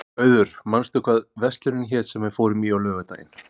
Auður, manstu hvað verslunin hét sem við fórum í á laugardaginn?